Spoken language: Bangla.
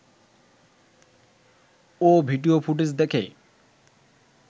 ও ভিডিও ফুটেজ দেখে